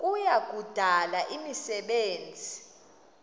kuya kudala imisebenzi